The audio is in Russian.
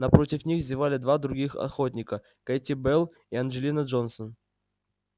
напротив них зевали два других охотника кэти белл и анджелина джонсон